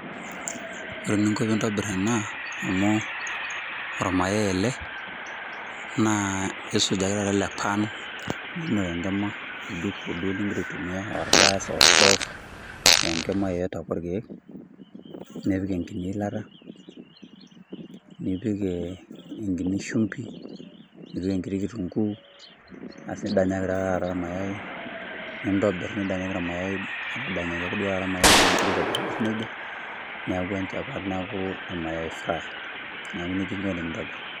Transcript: Ore ninko piintobirr ena amu ormayai ele, naa isujaki tata ele pan, ninok enkima, oljiko duo ligira aitumia [aa] olgas oostove , ee nkima yotote ake olkeek nipik enkini ilata nipik enkini shumbi, nipik enkiti kitunguu aas nidanyaki taa tata ilmayai , nintobirr nidanyaki ilmayai, adanyaki duo tata  ilmayai nigira aitobirbirr neija neaku enchapat neakuu emayai fry, neaku neija inko tenintobirr.